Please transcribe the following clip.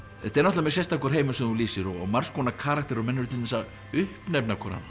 þetta er mjög sérstakur heimur sem þú lýsir og margs konar karakterar og menn eru til dæmis að uppnefna